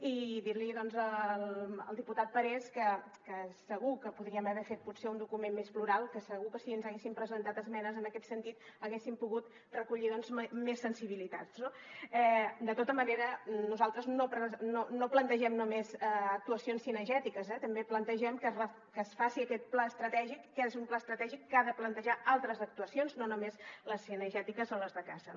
i dir·li doncs al diputat parés que segur que podríem haver fet potser un document més plural que segur que si ens haguessin presentat esmenes en aquest sentit haguéssim pogut reco·llir més sensibilitats no de tota manera nosaltres no plantegem només actuacions cinegètiques també plantegem que es faci aquest pla estratègic que és un pla estra·tègic que ha de plantejar altres actuacions no només les cinegètiques o les de caça